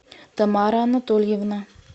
тамара анатольевна